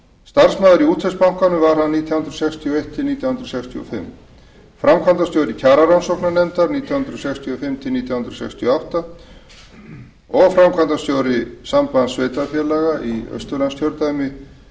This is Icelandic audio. starfsmaður í útvegsbankanum var hann nítján hundruð sextíu og eitt til nítján hundruð sextíu og fimm framkvæmdastjóri kjararannsóknarnefndar nítján hundruð sextíu og fimm til nítján hundruð sextíu og átta framkvæmdastjóri sambands sveitarfélaga í austurlandskjördæmi